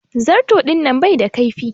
Zarto dinnan bai da ƙaifi.